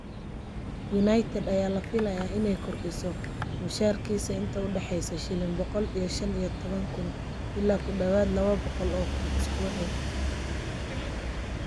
United ayaa la filayaa inay kordhiso mushaharkiisa inta u dhaxaysa shilin boqol iyo shaan iyo toban kun ilaa ku dhawaad ​​labo boqol o kun isbuucii.